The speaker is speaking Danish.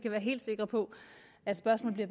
være helt sikre på at spørgsmålene